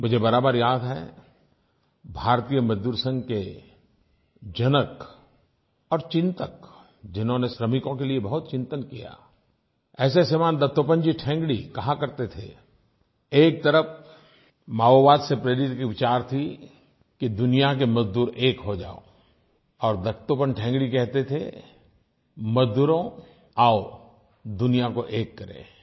मुझे बराबर याद है भारतीय मज़दूर संघ के जनक और चिन्तक जिन्होंने श्रमिकों के लिए बहुत चिंतन किया ऐसे श्रीमान दत्तोपन्त ठेंगड़ी कहा करते थे एक तरफ़ माओवाद से प्रेरित विचार था कि दुनिया के मज़दूर एक हो जाओ और दत्तोपन्त ठेंगड़ी कहते थे मज़दूरों आओ दुनिया को एक करें